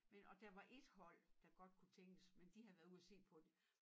Men og der var ét hold der godt kunne tænkes men de havde været ud og se på det